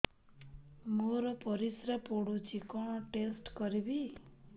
ମୋର ପରିସ୍ରା ପୋଡୁଛି କଣ ଟେଷ୍ଟ କରିବି